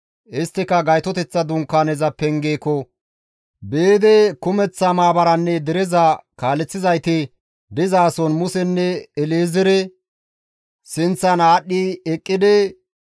Isttika Gaytoteththa Dunkaaneza pengeeko biidi kumeththa maabaranne dereza kaaleththizayti dizason Musenne El7ezeere sinththan aadhdhi eqqidi,